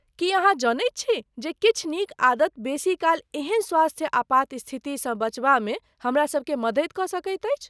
की अहाँ जनैत छी जे किछु नीक आदत बेसी काल एहन स्वास्थ्य आपात स्थितिसँ बचबामे हमरासभके मदति कऽ सकैत अछि?